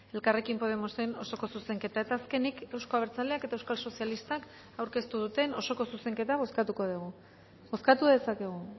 elkarrekin podemosen osoko zuzenketa eta azkenik euzko abertzaleak eta euskal sozialistak aurkeztu duten osoko zuzenketa bozkatuko dugu bozkatu dezakegu